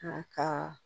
A ka